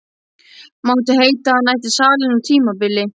Mátti heita að hann ætti salinn á tímabili.